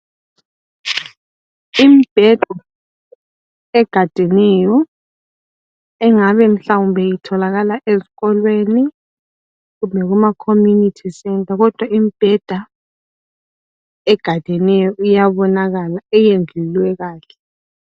Imibheda egadeneyo engabe mhlawumbe itholakala ezikolweni kumbe kuma community center kodwa imbheda egadeneyo iyabonakala eyendlulwe kahle.